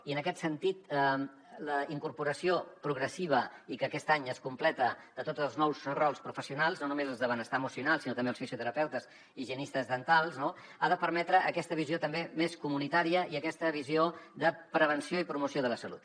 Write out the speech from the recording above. i en aquest sentit la incorporació progressiva i que aquest any es completa de tots els nous rols professionals no només els de benestar emocional sinó també els fisioterapeutes i higienistes dentals no ha de permetre aquesta visió també més comunitària i aquesta visió de prevenció i promoció de la salut